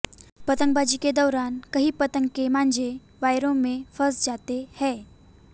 पतंगबाजी के दौरान कई पतंग के मांजे वायरों में फस जाते है